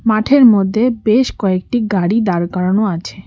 মাঠের মধ্যে বেশ কয়েকটি গাড়ি দাঁড় করানো আছে।